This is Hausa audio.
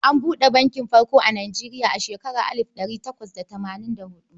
An buɗe bankin farko a Nijeriya a shekarar alif da ɗari takwas da tamanin da huɗu.